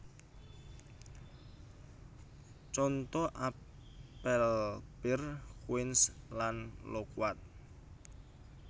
Conto apel pir quince lan lokuat